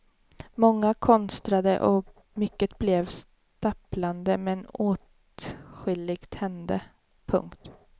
Många konstrade och mycket blev stapplande men åtskilligt hände. punkt